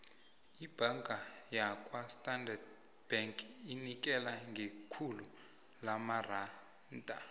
ibhanga yakwastandard bank inikela ngekhulu lamaranda